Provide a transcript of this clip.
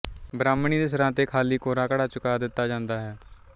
ਬ੍ਰਾਹਮਣੀ ਦੇ ਸਿਰ ਤੇ ਖਾਲੀ ਕੋਰਾ ਘੜਾ ਚੁਕਾ ਦਿੱਤਾ ਜਾਂਦਾ ਹੈ